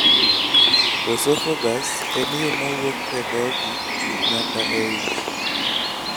Osophagus en yo ma wuok e dhoki nyaka e ich.